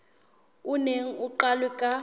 o neng o qalwe ka